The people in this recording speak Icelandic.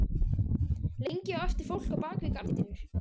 Lengi á eftir fólk á bak við gardínur.